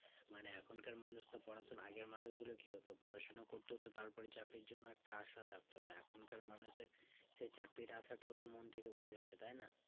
মানে এখন কার মানুষ তো পড়াশোনা আগের মানুষ গুলো কি হতো পড়াশোনা করতো তো তার পরে চাকরির জন একটা আশা থাকতো তো এখন কার মানুষের সেই চাকরির আশাতও তো মন থেকে উঠে গেছে তাই না